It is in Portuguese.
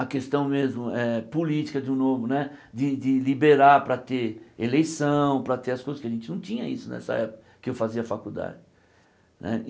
a questão mesmo eh política de um novo né, de de liberar para ter eleição, para ter as coisas, que a gente não tinha isso nessa época que eu fazia faculdade né.